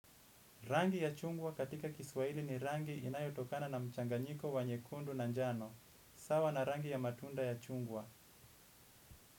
Rangi ya chungwa katika kiswahili ni rangi inayotokana na mchanganyiko wa nyekundu na njano. Sawa na rangi ya matunda ya chungwa.